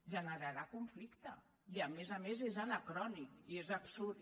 generarà conflicte i a més a més és anacrònic i és absurd